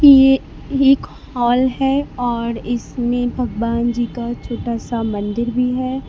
ये एक हॉल है और इसमें भगवान जी का छोटा सा मंदिर भी है।